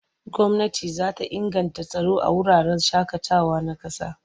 Gwamnati za ta inganta tsaro a wuraren shaƙatawa na ƙasa.